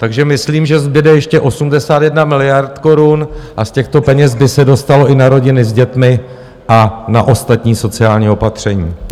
Takže myslím, že zbude ještě 81 miliard korun a z těchto peněz by se dostalo i na rodiny s dětmi a na ostatní sociální opatření.